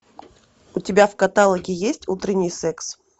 у тебя в каталоге есть утренний секс